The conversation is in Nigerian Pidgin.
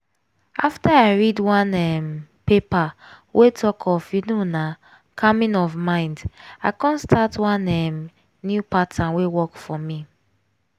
after i read one um paper wey talk of you know na calming of mind i come start one um new pattern wey work for me.